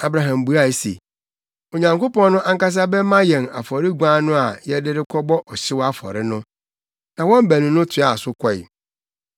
Abraham buae se, “Onyankopɔn no ankasa bɛma yɛn afɔre guan no a yɛde rekɔbɔ ɔhyew afɔre no.” Na wɔn baanu no toaa so kɔe.